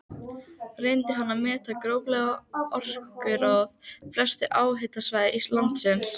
Reyndi hann að meta gróflega orkuforða helstu háhitasvæða landsins.